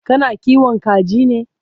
kana kiwon kaji ne?